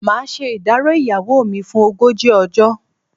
Màá ṣe ìdárò ìyàwó mi fún ogójì ọjọ́.